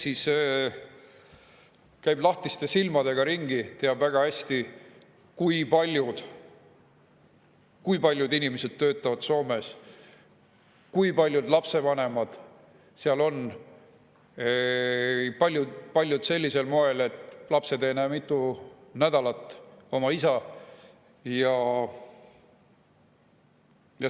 Kes käib lahtiste silmadega ringi, teab väga hästi, kui paljud inimesed töötavad Soomes, kui paljud lapsevanemad seal on, kui paljud sellisel moel, et lapsed ei näe mitu nädalat oma isa.